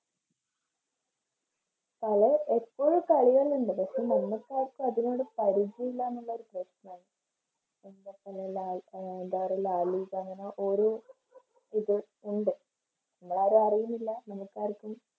അത് എപ്പോഴും കളികളുണ്ട് പക്ഷേ നമുക്കാർക്കും അതിനോട് പരിചയമില്ല എന്നുള്ള പ്രശ്നാണ്. അഹ് എന്താ പറയുക ലാലിഗന്ന് പറഞ്ഞ ഓരോ ഇത് ഉണ്ട് നമ്മളാരും അറിയുന്നില്ല നമുക്ക് ആർക്കും